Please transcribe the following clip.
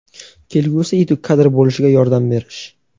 kelgusida yetuk kadr bo‘lishiga yordam berish.